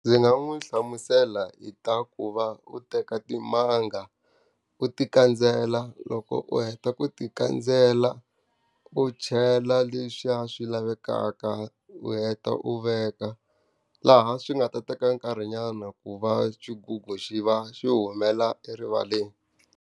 Ndzi nga n'wi hlamusela hi ta ku va u teka timanga, u ti kandzela, loko u heta ku ti kandzela, u chela leswiya swi lavekaka u heta u veka. Laha swi nga ta teka nkarhinyana ku va xigugu xi va xi humela erivaleni.